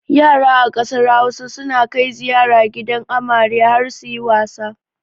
Yara a ƙasar Hausa suna kai ziyara gidan amare har suyi wasa.